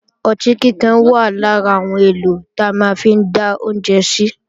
Ọtí kíkan wà lára àwọn èlò ta máa ń fi dá oúnjẹ sí